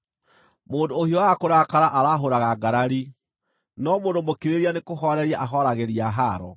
Mũndũ ũhiũhaga kũrakara aarahũraga ngarari, no mũndũ mũkirĩrĩria nĩkũhooreria ahooragĩria haaro.